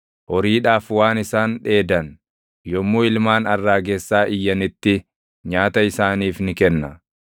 Horiidhaaf waan isaan dheedan, yommuu ilmaan arraagessaa iyyanitti // nyaata isaaniif ni kenna.